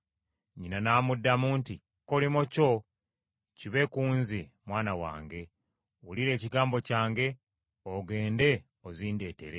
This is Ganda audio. Nnyina n’amuddamu nti, “Ekikolimo kyo kibe ku nze mwana wange; wulira ekigambo kyange ogende ozindeetere.”